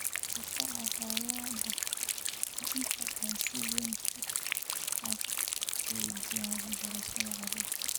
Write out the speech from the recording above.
Barakaca colaadaha ayaa inta badan si weyn u hakiya waxbarashada carruurta.